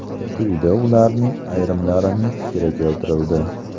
Quyida ularning ayrimlarining fikri keltirildi.